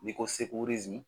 N'i ko